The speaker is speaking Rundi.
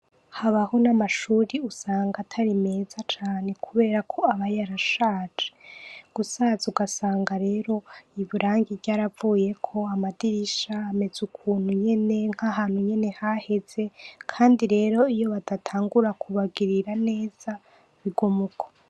Habaho n’amashure usanga atari meza cane ,kubera ko aba yarashaje. Gusaza ugasanga rero irangi ryaravuyeko, amadirisha amezukuntu nyene nkahantu nyene haheze Kandi rero iyo badatangura kubagirira neza bigumuko.